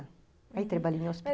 Uhum, mas...aí trabalhei no hosp